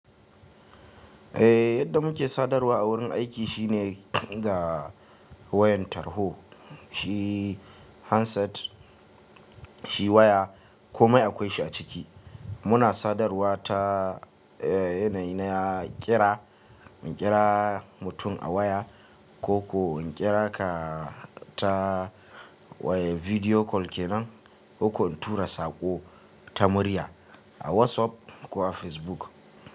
Eh yadda muke sadarwa a wurin aiki shine da wayan tarho, shi handset, shi waya ko mai akwai shi a ciki. Muna sadarwa ta eh yanayi na ƙira, in ƙira mutum a waya ko ko in ƙira ka, ta, waya bidiyo kol kenan, ko ko in tura saƙo ta murya, a WhatsApp ko a Facebook.